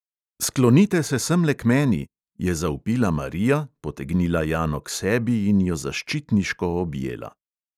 "Sklonite sem semle k meni!" je zavpila marija, potegnila jano k sebi in jo zaščitniško objela.